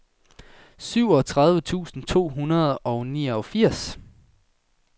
syvogtredive tusind to hundrede og niogfirs